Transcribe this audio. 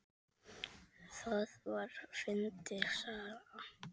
Það var fyndin saga.